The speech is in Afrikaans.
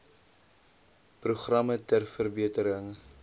programme ter verbetering